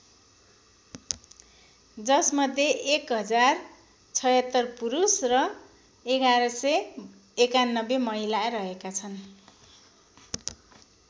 जसमध्ये १०७६ पुरुष र ११९१ महिला रहेका छन्।